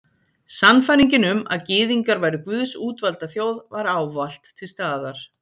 Sannfæringin um að Gyðingar væru Guðs útvalda þjóð var ávallt til staðar.